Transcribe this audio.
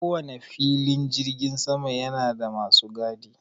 Ko wane filin jirgin sama yana da masu gadi.